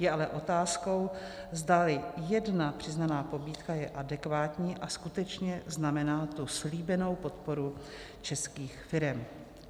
Je ale otázkou, zdali jedna přiznaná pobídka je adekvátní a skutečně znamená tu slíbenou podporu českých firem.